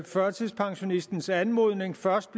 førtidspensionistens anmodning først